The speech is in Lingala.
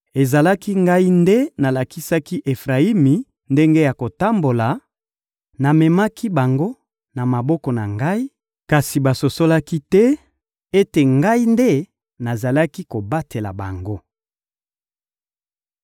Ezalaki Ngai nde nalakisaki Efrayimi ndenge ya kotambola; namemaki bango na maboko na Ngai, kasi basosolaki te ete Ngai nde nazalaki kobatela bango.